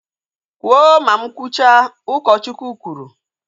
Kwụọ ma mụ kwụcha! Ụkọchukwu kwuru